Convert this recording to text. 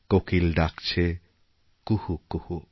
কোকিল ডাকছে কুহুকুহু